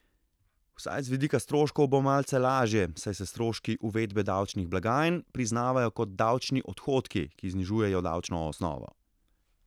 Vsaj z vidika stroškov bo malce lažje, saj se stroški uvedbe davčnih blagajn priznavajo kot davčni odhodki, ki znižujejo davčno osnovo.